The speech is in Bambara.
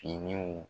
Finiw